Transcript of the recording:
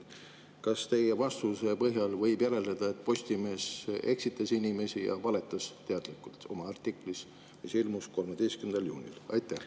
Kas teie vastuse põhjal võib järeldada, et Postimees eksitas inimesi ja valetas teadlikult oma artiklis, mis ilmus 13. juunil?